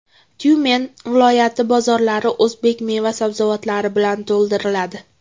Tyumen viloyati bozorlari o‘zbek meva-sabzavotlari bilan to‘ldiriladi.